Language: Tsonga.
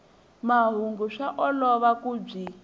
mahungu swa olova ku byi